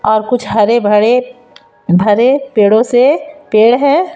और कुछ हरे भरे भरे पेड़ों से पेड़ है।